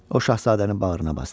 O şahzadəni bağrına basdı.